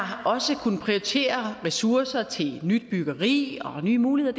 har også kunnet prioritere ressourcer til nyt byggeri og nye muligheder